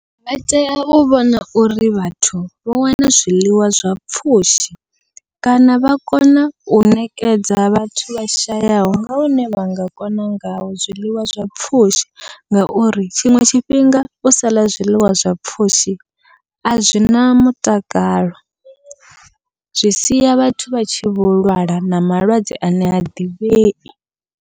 Vha tea u vhona uri vhathu vho wana zwiḽiwa zwa pfhushi, kana vha kona u ṋekedza vhathu vha shayaho nga hune vha nga kona ngayo zwiḽiwa zwa pfhushi. Ngauri tshiṅwe tshifhinga u sala zwiḽiwa zwa pfhushi a zwina mutakalo zwi sia vhathu vha tshi vho lwala na malwadze ane ha ḓivhei.